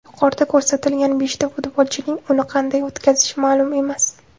Yuqorida ko‘rsatilgan beshta futbolchining uni qanday o‘tkazishi ma’lum emas.